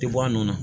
Tɛ bɔ a nɔ na